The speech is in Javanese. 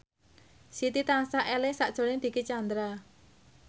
Siti tansah eling sakjroning Dicky Chandra